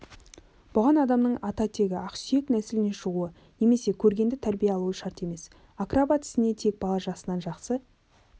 бұған адамның ата-тегі ақсүйек нәсілінен шығуы немесе көргенді тәрбие алуы шарт емес акробат ісіне тек бала жасынан жақсы